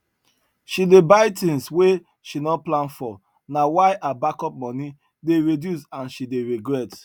she dey buy things wey she no plan for na why her backup money dey reduce and she dey regret